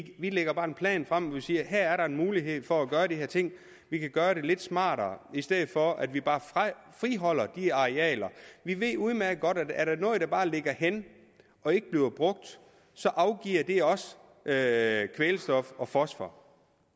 vi lægger en plan frem hvor vi siger her er der en mulighed for at gøre de her ting vi kan gøre det lidt smartere i stedet for at vi bare friholder de arealer vi ved udmærket godt at er der noget der bare ligger hen og ikke bliver brugt så afgiver det også kvælstof og fosfor